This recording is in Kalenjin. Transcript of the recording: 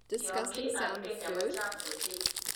Tiongii ab kenya ko chang ochei.